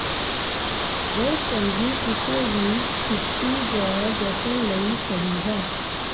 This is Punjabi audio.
ਇਹ ਚੰਗੀ ਕਿਸੇ ਵੀ ਛੁੱਟੀ ਜ ਜਸ਼ਨ ਲਈ ਸਹੀ ਹੈ